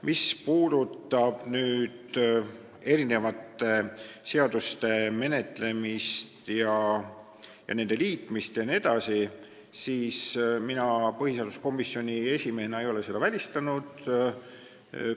Mis puudutab erinevate seaduste menetlemist, nende liitmist jne, siis mina põhiseaduskomisjoni esimehena ei ole seda välistanud.